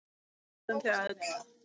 Við dáðum þig öll.